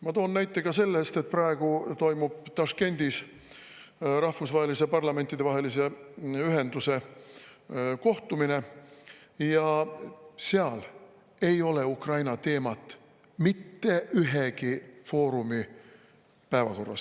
Ma toon näite ka sellest, et praegu toimub Taškendis rahvusvahelise parlamentidevahelise ühenduse kohtumine ja seal ei ole Ukraina teemat mitte ühegi foorumi päevakorras.